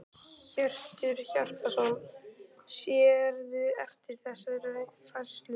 Hjörtur Hjartarson: Sérðu eftir þessari færslu?